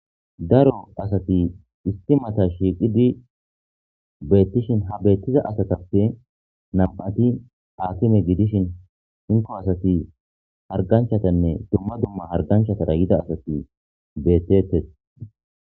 daro asati isi mata shiiqidi beettishin ha beettiza asatappe nam7ati akime gidishin hinko asati harganchatanne dumma dumma harganchatara yida asati beettetes